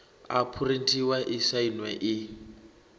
a phurinthiwa i sainwe i